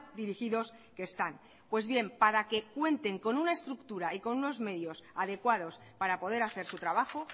dirigidos que están pues bien para que cuenten con una estructura y con unos medios adecuados para poder hacer su trabajo